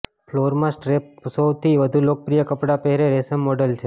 ફ્લોરમાં strap પર સૌથી વધુ લોકપ્રિય કપડાં પહેરે રેશમ મોડલ છે